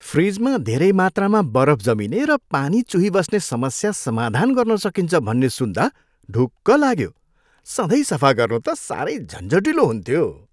फ्रिजमा धेरै मात्रामा बरफ जमिने र पानी चुहिबस्ने समस्या समाधान गर्न सकिन्छ भन्ने सुन्दा ढुक्क लाग्यो, सधैँ सफा गर्नु त साह्रै झन्झटिलो हुन्थ्यो।